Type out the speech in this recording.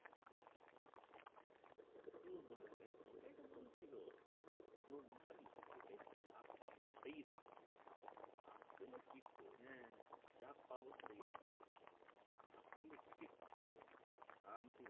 শান্তি